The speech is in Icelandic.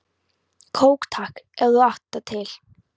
Kók takk, ef þú átt það til!